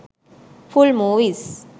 full movies